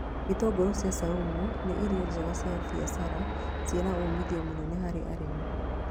Itũngũrũ cia caumu nĩ irio njega cia mbiacara ciĩna umithio mũnene harĩ arĩmi